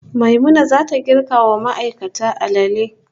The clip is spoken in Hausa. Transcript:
Maimuna zata girka ma ma'aikata alale